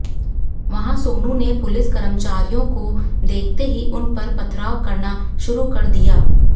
वहां सोनू ने पुलिस कर्मचारियों को देखते ही उन पर पथराव करना शुरू कर दिया